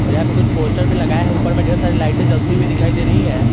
और यहां पे कुछ पोस्टर भी लगाए है ऊपर में ढेर सारी लाइटें जलती हुई दिखाई दे रही हैं।